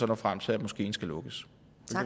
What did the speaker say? nå frem til at moskeen skal lukkes